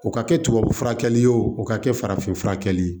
O ka kɛ tubabu furakɛli ye o ka kɛ farafinfurakɛ ye